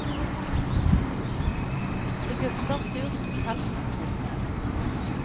Det gufser surt og kaldt omkring dem.